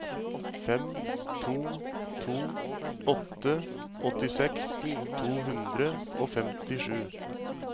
fem to to åtte åttiseks to hundre og femtisju